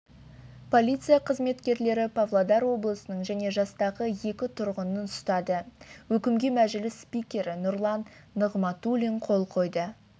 полиция қызметкерлері павлодар облысының және жастағы екі тұрғынын ұстады өкімге мәжіліс спикері нұрлан нығматулин қол қойды